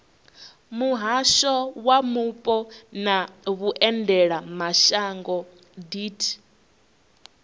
muhasho wa mupo na vhuendelamashango deat